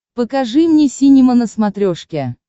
покажи мне синема на смотрешке